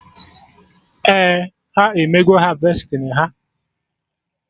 Ee, ha emego harvesting ha